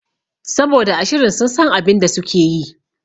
Saboda a shirin sun san abinda sukeyi